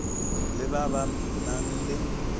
le ba ba nang le